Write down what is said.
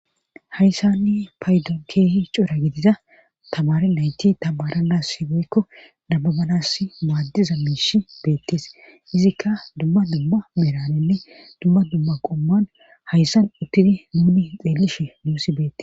Hayssanni paydon keehi cura gidiza tabare nayti tabara nas sibeykko dababanas maaddiza miish beettees izikka dumma dumma meranenne dumma dumma qomman hayssan uttidi nuuni xeelishi nuusi beette.